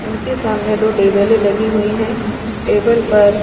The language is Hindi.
उनके सामने दो टेबल लगी हुई है। टेबल पर--